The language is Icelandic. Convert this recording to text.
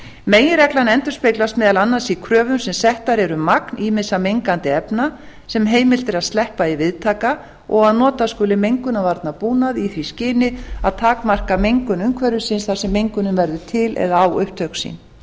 meginreglan endurspeglast meðal annars í kröfum sem settar eru um magn ýmissa mengandi efna sem heimilt er að sleppa í viðtaka og að nota skuli mengunarvarnabúnað í því skyni að takmarka mengun umhverfisins þar sem mengunin verður til eða á upptök sín